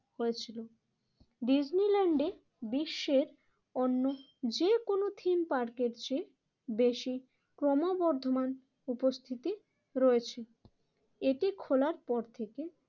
হয়েছিল। ডিজনিল্যান্ডে বিশ্বের অন্য যেকোন থিম পার্কের চেয়ে বেশি ক্রমবর্ধমান উপস্থিতি রয়েছে। এটি খোলার পর থেকে